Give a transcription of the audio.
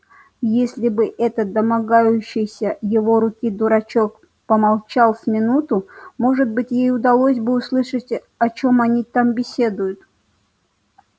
если бы этот домогающийся его руки дурачок помолчал с минуту может быть ей удалось бы услышать о чём они там беседуют